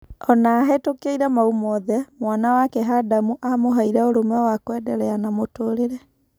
Ona-ahetũkĩire mau mothe, mwana wake Hadamu amũheire ũrũme wa kuendelea na mũtũrĩre.